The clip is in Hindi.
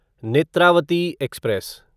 नेत्रावती एक्सप्रेस